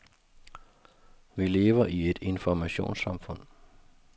Vi lever i et informationssamfund.